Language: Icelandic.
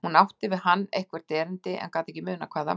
Hún átti við hann eitthvert erindi en gat ekki munað hvað það var.